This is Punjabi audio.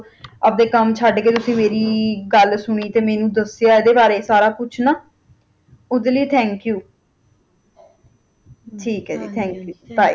ਆਪਣੇ ਕਾਮ ਛੱਡ ਕਈ ਤੁਸੀ ਮਾਰੀ ਗੱਲ ਸੁਣੀ ਮੈਨੂੰ ਦਸ ਇਹਦੇ ਬਾਰੇ ਸਾਰਾ ਕੁਝ ਉਸਦੇ ਲਈ Thank You ਠੀਕ ਏ ਜੀ Bye